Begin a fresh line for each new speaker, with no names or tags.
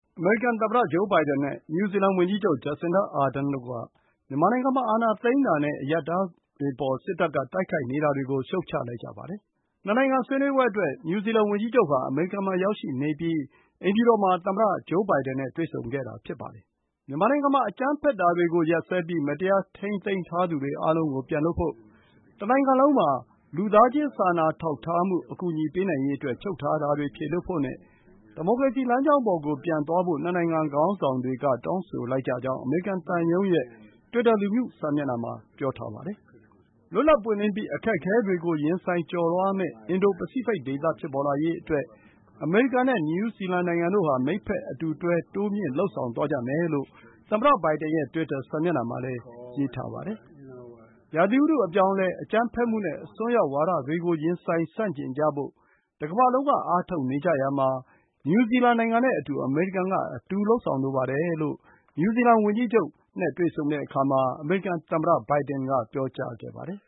အမေရိကန်သမ္မတဂျိုးဘိုင်ဒန်နဲ့ နယူးဇီလန်ဝန်ကြီးချုပ် Jacinda Ardern တို့က မြန်မာနိုင်ငံမှာ အာဏာသိမ်းတာနဲ့ အရပ်သားတွေအပေါ် စစ်တပ်က တိုက် ခိုက်နေတာတွေကို ရှုတ်ချလိုက်ကြပါတယ်။ နှစ်နိုင်ငံဆွေးနွေးပွဲအတွက် နယူးဇီလန်ဝန်ကြီးချုပ်ဟာ အမေရိကန်နိုင်ငံမှာ ရောက်ရှိနေပြီး အိမ်ဖြူတော်မှာ သမ္မတဘိုင်ဒန်နဲ့ တွေ့ဆုံခဲ့တာဖြစ်ပါတယ်။ မြန်မာနိုင်ငံမှာ အကြမ်းဖက်တာတွေကိုရပ်စဲပြီး မတရားထိန်းသိမ်းထားသူတွေအားလုံးကို ပြန်လွှတ်ဖို့၊ တနိုင်ငံလုံးမှာ လူသားချင်း စာနာထောက်ထားမှု ပေးနိုင်ရေးအတွက် ချုပ်ထားတာတွေ ဖြည်လွှတ်ဖို့နဲ့ ဒီမိုကရေစီလမ်းကြောင်းပေါ်ကို ပြန်သွားဖို့ နှစ်နိုင်ငံခေါင်းဆောင်တွေက တောင်းဆိုလိုက်ကြကြောင်း အမေရိကန်သံရုံးရဲ့ တွစ်တာ လူမှုစာမျက်နှာမှာ ပြောထားပါတယ်။ လွတ်လပ်ပွင့်လင်းပြီး အခက်အခဲတွေကို ရင်ဆိုင်ကျော်လွှားမယ့် အင်ဒို ပစိဖိတ် ဒေသ ဖြစ်ပေါ်လာရေးအတွက် အမေရိကန်နဲ့ နယူးဇီလန်နိုင်ငံတို့ဟာ မိတ်ဖက်အတူတွဲ၊ တိုးမြှင့် လုပ်ဆောင်သွားကြမယ်လို့ သမ္မတဘိုင်ဒန်ရဲ့ တွစ်တာ စာမျက်နှာမှာလည်း ရေးထားပါတယ်။ ရာသီဥတု အပြောင်းအလဲ၊ အကြမ်းဖက်မှုနဲ့ အစွန်းရောက်ဝါဒတွေကို ရင်ဆိုင် ဆန့်ကျင်ကြဖို့ တကမ္ဘာလုံးက အားထုတ်နေကြရာမှာ နယူးဇီလန်နိုင်ငံနဲ့အတူ အမေရိကန်က အတူ လုပ်ဆောင်လိုပါတယ်လို့ နယူးဇီလန်ဝန်ကြီးချုပ် နဲ့ တွေ့ဆုံရာမှာ အမေရိကန်သမ္မတဘိုင်ဒန်က ပြောကြားခဲ့ပါတယ်